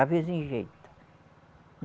Às vezes, enjeita.